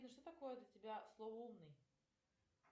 что такое для тебя слово умный